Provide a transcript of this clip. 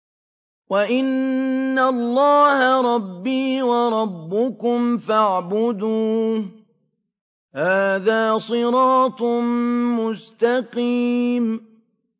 وَإِنَّ اللَّهَ رَبِّي وَرَبُّكُمْ فَاعْبُدُوهُ ۚ هَٰذَا صِرَاطٌ مُّسْتَقِيمٌ